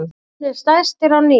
Orðnir stærstir á ný